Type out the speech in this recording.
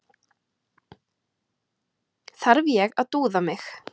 Þarf ég að dúða mig?